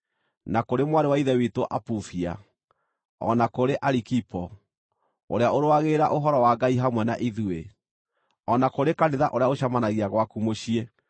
na kũrĩ mwarĩ wa Ithe witũ Apufia, o na kũrĩ Arikipo, ũrĩa ũrũagĩrĩra Ũhoro wa Ngai hamwe na ithuĩ, o na kũrĩ kanitha ũrĩa ũcemanagia gwaku mũciĩ.